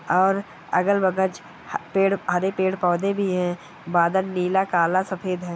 और अगल बगज पेड़ हरे पेड़-पौधे भी है बादल नीला काला सफेद है।